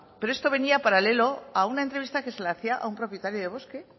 pero esto venía paralelo a una entrevista que se le hacía a un propietario de bosque